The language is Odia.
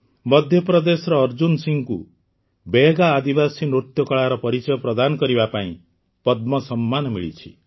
ମଧ୍ୟପ୍ରଦେଶର ଅର୍ଜୁନ ସିଂଙ୍କୁ ବୈୟଗା ଆଦିବାସୀ ନୃତ୍ୟ କଳାର ପରିଚୟ ପ୍ରଦାନ କରିବା ପାଇଁ ପଦ୍ମ ସମ୍ମାନ ମିଳିଛି